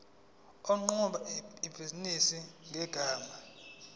oqhuba ibhizinisi ngegama